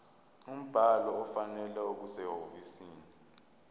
umbhalo ofanele okusehhovisi